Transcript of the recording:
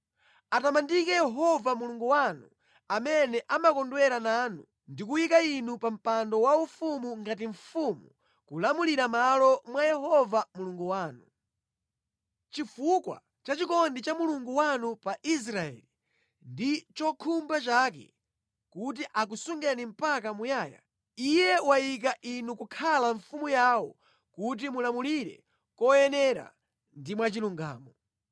Atamandike Yehova Mulungu wanu amene wakondwera nanu nakukhazikani pa mpando wake waufumu kuti mulamulire mʼmalo mwa Yehova Mulungu wanu. Chifukwa cha chikondi cha Mulungu wanu pa Israeli, ndi khumbo lake kuti akusungeni mpaka muyaya, Iye wayika inu kukhala mfumu yawo kuti mulamulire moyenera ndi mwachilungamo.”